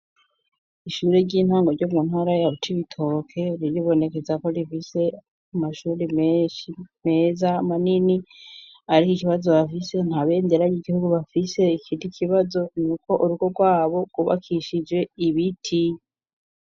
Ishure ry'intango ryo muntara yabcoibitoke riribonekeza ko rifise amashuri meshi meza manini, ariko ikibazo bafise nta bendera y'igihugu bafise ikiti ikibazo ni uko urugo rwabo rwubakishije ibiti.